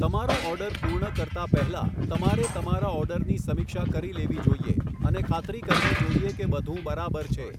તમારો ઑર્ડર પૂર્ણ કરતા પહેલા, તમારે તમારા ઑર્ડરની સમીક્ષા કરી લેવી જોઇએ અને ખાતરી કરવી જોઇએ કે બધું બરાબર છે.